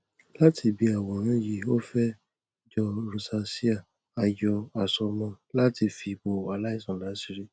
láti ibi àwòrán yìí ó fẹ jọ rosacea a yọ àsomọ láti fi bo aláìsàn láṣìírí